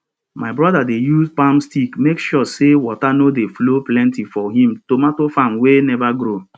my broda dey use palm stick make sure say water no dey flow plenty for him tomato farm wey neva grow